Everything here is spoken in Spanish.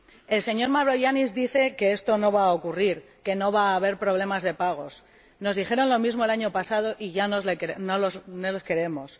El señor Mavroyiannis dice que esto no va a ocurrir, que no va a haber problemas de pagos nos dijeron lo mismo el año pasado y ya no les creemos.